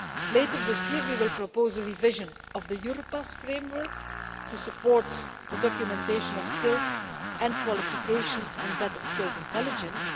Later this year, we will propose a revision of the Europass Framework to support the documentation of skills and qualifications and better skills intelligence.